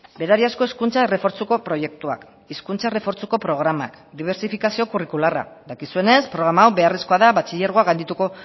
berariazko hezkuntza errefortzuko proiektuak hizkuntza errefortzuko programak dibertsifikazio kurrikularra dakizuenez programa hau beharrezkoa da batxilergoa gaindituko